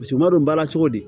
Paseke m'a dɔn baara cogo di